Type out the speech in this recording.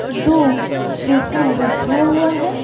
दो सोफा रखा हुआ है।